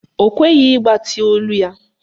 Ọ kweghị ịgbatị olu ya.